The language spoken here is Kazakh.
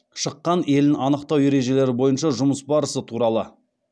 шыққан елін анықтау ережелері бойынша жұмыс барысы туралы